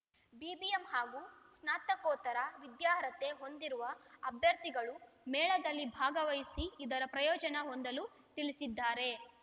BBM ಹಾಗೂ ಸ್ನಾತಕೋತ್ತರ ವಿದ್ಯಾರ್ಹತೆ ಹೊಂದಿರುವ ಅಭ್ಯರ್ಥಿಗಳು ಮೇಳದಲ್ಲಿ ಭಾಗವಹಿಸಿ ಇದರ ಪ್ರಯೋಜನ ಹೊಂದಲು ತಿಳಿಸಿದ್ದಾರೆ